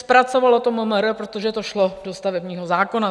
Zpracovalo to MMR, protože to šlo do stavebního zákona.